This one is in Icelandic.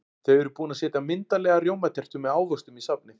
Þau eru búin að setja myndarlega rjómatertu með ávöxtum í safnið.